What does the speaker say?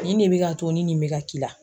Nin ne bi k'a to ni nin be k'i la